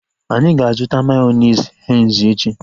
Anyị ga-azuta mayonezi Henzi echi